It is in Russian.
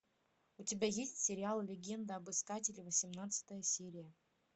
у тебя есть сериал легенда об искателе восемнадцатая серия